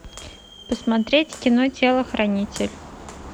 посмотреть кино телохранитель